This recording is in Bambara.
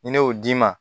Ni ne y'o d'i ma